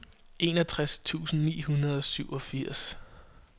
enogtres tusind ni hundrede og syvogfirs